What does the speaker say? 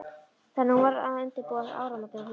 Þannig að hún varð að undirbúa áramótin á hlaupum.